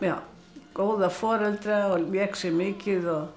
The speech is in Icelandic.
góða foreldra lék sér mikið